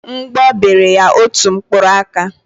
Mgbọ bere ya otu mkpụrụ aka.